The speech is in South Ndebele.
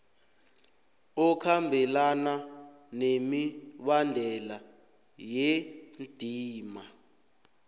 okhambelana nemibandela yendima